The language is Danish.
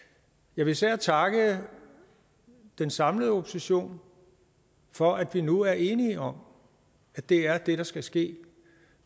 jeg vil især takke den samlede opposition for at vi nu er enige om at det er det der skal ske